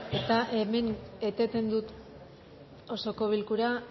eta hemen eteten dut osoko bilkura